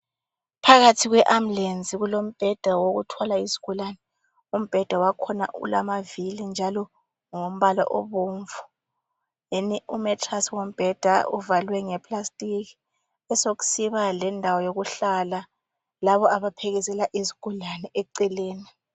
Phakathi kwe ambulesi kulombheda wokuthwala izigulane umbheda wakhona ulamavili njalo ngowo mbala obomvu deni umatrasi wombheda uvalwe ngeplastiki kube sokusiba lendawo yokuhlala laba abaphekezela izigulane eceleni.